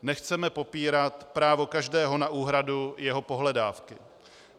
Nechceme popírat právo každého na úhradu jeho pohledávky.